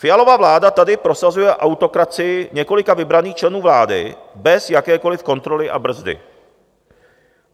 Fialova vláda tady prosazuje autokracii několika vybraných členů vlády bez jakékoliv kontroly a brzdy.